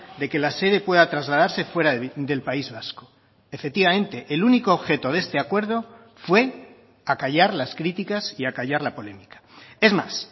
de que la sede pueda trasladarse fuera del país vasco efectivamente el único objeto de este acuerdo fue acallar las críticas y acallar la polémica es más